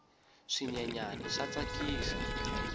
swinyenyani swa tsakisa